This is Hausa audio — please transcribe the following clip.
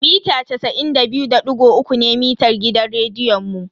Mita casa'in da biyu da digo uku ne mitar gidan rediyon.